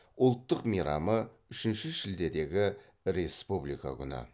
ұлттық мейрамы үшінші шілдедегі республика күні